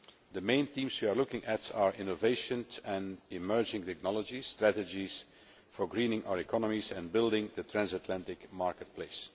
The main themes we are looking at are innovation and emerging technologies, and strategies for greening our economies and building the transatlantic market place.